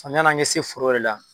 yan'an kɛ se foro yɛrɛ la